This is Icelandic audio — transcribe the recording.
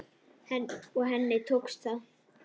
Og henni tókst það.